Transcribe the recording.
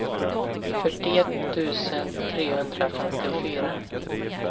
fyrtioett tusen trehundrafemtiofyra